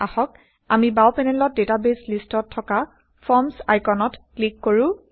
আহক আমি বাও পেনেলত160ডেটাবেইছ লিষ্টত থকা ফৰ্মচ আইকনত ক্লিক কৰো